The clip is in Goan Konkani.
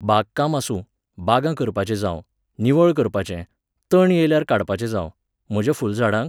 बागकाम आसूं, बागां काम करपाचे जावं, निवळ करपाचें, तण येयल्यार काडपाचें जावं, म्हाज्या फुलझाडांक